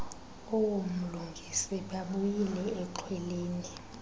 oomlungisi babuyile exhweleni